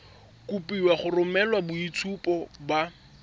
kopiwa go romela boitshupo ba